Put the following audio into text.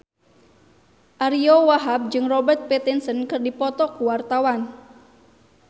Ariyo Wahab jeung Robert Pattinson keur dipoto ku wartawan